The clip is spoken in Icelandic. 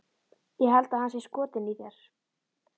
Ég held að hann sé skotinn í þér